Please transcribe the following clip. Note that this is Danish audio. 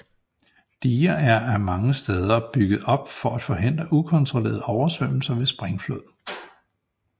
Diger er mange steder bygget op for at forhindre ukontrollerede oversvømmelser ved springflod